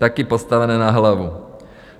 Také postavené na hlavu!